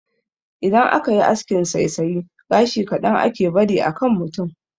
Idan aka yi askin saisaya, gashi kaɗan ake bari a kan mutum.